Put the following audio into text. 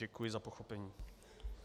Děkuji za pochopení.